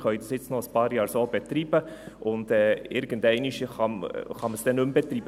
Wir können es jetzt noch ein paar Jahre so betreiben, und irgendeinmal kann man es dann nicht mehr betreiben.